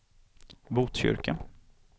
Botkyrka